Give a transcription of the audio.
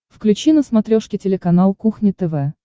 включи на смотрешке телеканал кухня тв